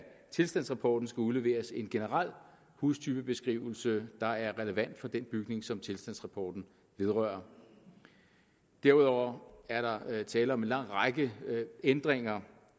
tilstandsrapporten skal udleveres en generel hustypebeskrivelse der er relevant for den bygning som tilstandsrapporten vedrører derudover er der tale om en lang række ændringer